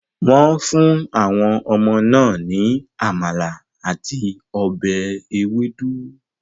Wọ́n fún àwọn ọmọ náà ní amala àti ọbẹ̀ ewedu.